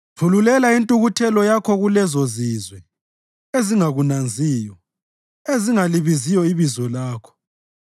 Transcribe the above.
Thululela intukuthelo yakho kulezozizwe ezingakunanziyo, ezingalibiziyo ibizo lakho